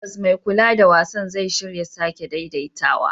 Tabbas, mai kula da wasan zai shirya sake daidaitawa.